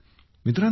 मित्रांनो